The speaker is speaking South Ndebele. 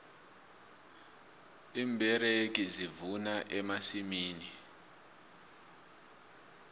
iimberegi zivuna emasimini